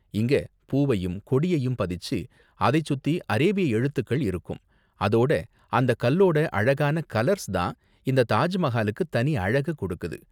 இங்க பூவையும் கொடியையும் பதிச்சு, அதை சுத்தி அரேபிய எழுத்துக்கள் இருக்கும், அதோட அந்த கல்லோட அழகான கலர்ஸ் தான் இந்த தாஜ் மஹாலுக்கு தனி அழக கொடுக்குது.